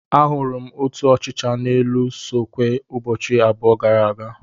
Ahụrụ m otu ọchịcha nọ n'elu sọkeewe ụbọchị abụọ gara aga.